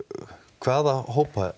hvaða hópa